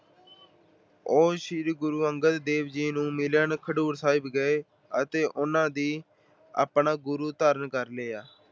ਉਹ ਸ਼੍ਰੀ ਗੁਰੂ ਅੰਗਦ ਦੇਵ ਜੀ ਨੂੰ ਮਿਲਣ ਖਡੂਰ ਸਾਹਿਬ ਗਏ ਅਤੇ ਉਹਨਾਂ ਨੂੰ ਆਪਣਾ ਗੁਰੂ ਧਾਰਨ ਕਰ ਲਿਆ।